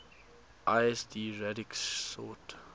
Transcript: lsd radix sort